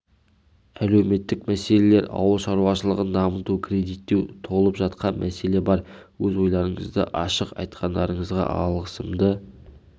әлеуметтік мәселелер ауыл шаруашылығын дамыту кредиттеу толып жатқан мәселе бар өз ойларыңызды ашық айтқандарыңызға алғысымды